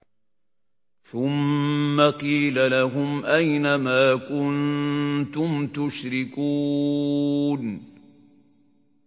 ثُمَّ قِيلَ لَهُمْ أَيْنَ مَا كُنتُمْ تُشْرِكُونَ